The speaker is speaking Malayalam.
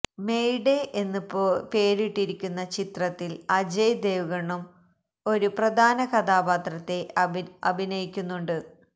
മേയ് ഡേ എന്ന് പേരിട്ടിരിക്കുന്ന ചിത്രത്തിൽ അജയ് ദേവ്ഗണും ഒരു പ്രധാന കഥാപാത്രത്തെ അഭിനയിക്കുന്നുണ്ട്